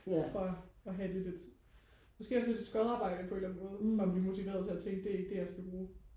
tror jeg og have lidt et måske også lidt et skodarbejde på en eller anden måde for at blive motiveret til at tænke det er ikke det jeg skal bruge